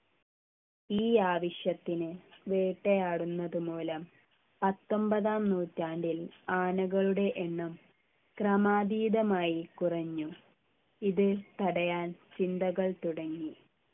ഈ ആവശ്യത്തിനു വേട്ടയാടുന്നത് മൂലം പത്തൊമ്പതാം നൂറ്റാണ്ടിൽ ആനകളുടെ എണ്ണം ക്രമാതീതമായി കുറഞ്ഞു ഇത് തടയാൻ ചിന്തകൾ തുടങ്ങി